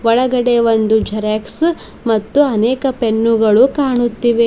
ಒಳಗಡೆ ಒಂದು ಝರಾಕ್ಸ್ ಮತ್ತು ಅನೇಕ ಪೆನ್ನುಗಳು ಕಾಣುತ್ತಿವೆ.